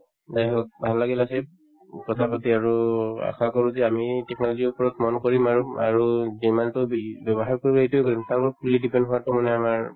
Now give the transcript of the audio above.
যায় হওক ভাল লাগিল আশ্বিক উম কথাপাতি আৰু আশা কৰো যে আমি technology ৰ ওপৰত মন কৰিম আৰু আৰু যিমানতো বি ব্যৱহাৰ কৰিম এইটোও কৰিম কাৰণ fully depend হোৱাতো মানে আমাৰ